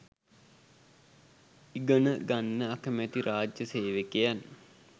ඉගනගන්න අකමැති රා‍ජ්‍ය සේවකයන්